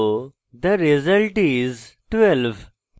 the result is: 12